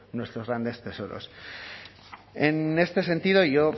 nuestros grandes tesoros en este sentido yo